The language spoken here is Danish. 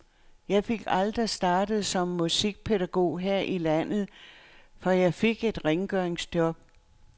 Jeg fik aldrig startet som musikpædagog her i landet, for jeg fik et rengøringsjob.